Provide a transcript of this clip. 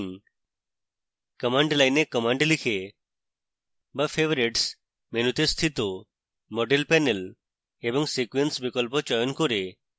commands line commands লিখে বা favorites মেনুতে স্থিত model panel এবং sequence বিকল্প চয়ন করে